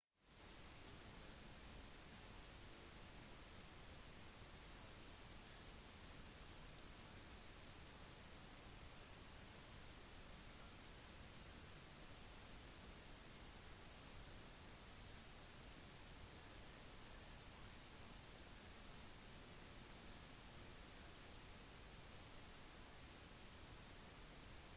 steder der man kan få kjøpt tradisjonelle marokkanske varer som for eksempel taginer keramikk skinnvarer hettegenser og et helt spektrum av geiaer er enkle å finne rundt den gamle medinaen men de selges hovedsakelig til turistene